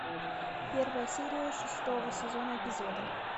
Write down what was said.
первая серия шестого сезона эпизоды